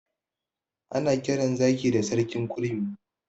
Ana kiran zaki da sarkin kurmi.